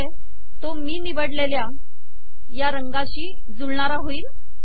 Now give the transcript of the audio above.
म्हणजे तो मी निवडलेल्या या रंगाशी जुळणारा होईल